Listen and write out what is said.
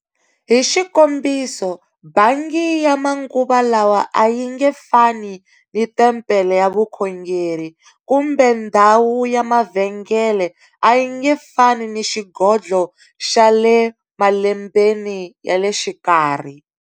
Hi xikombiso, bangi ya manguva lawa a yi nge fani ni tempele ya vukhongeri, kumbe ndhawu ya mavhengele a yi nge fani ni xigodlho xa le malembeni ya le xikarhi.